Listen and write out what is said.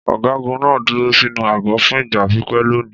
Ọ̀gágun náà dúró sínú àgọ́ fún ìgbà pípẹ́ lónìí.